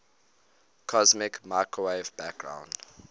cosmic microwave background